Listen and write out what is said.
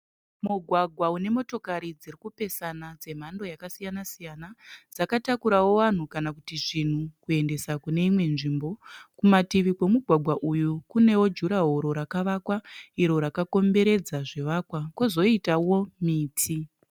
Mugwagwa une motokari dzirikupesana dzemhando yakasiyana siyana. Dzakatakurawo vanhu kana kuti zvinhu kuendesa kune imwe nzvimbo. Kumativi kwemugwagwa uyu kunewo jurahoro rakawakwa iro rakakomberedza zvivakwa kozoitowo miti.